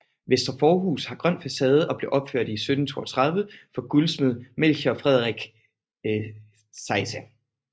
Vestre forhus har grøn facade og blev opført i 1732 for guldsmed Melchior Frederik Zeise